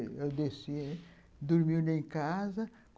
Eu desci, dormindo em casa.